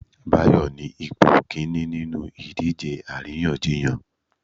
Bayo ni ipo kinní ninú idije aríyànjiyàn